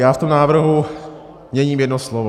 Já v tom návrhu měním jedno slovo.